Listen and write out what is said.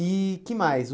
E que mais? O